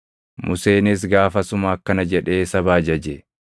Museenis gaafasuma akkana jedhee saba ajaje: